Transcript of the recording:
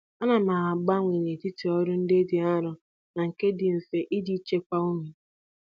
Ana m agbanwe n'etiti ọrụ ndị dị arọ na nke dị mfe iji chekwaa ume.